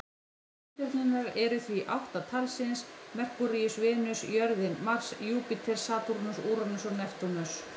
Reikistjörnurnar eru því átta talsins: Merkúríus, Venus, jörðin, Mars, Júpíter, Satúrnus, Úranus og Neptúnus.